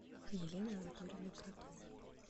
еленой анатольевной кротовой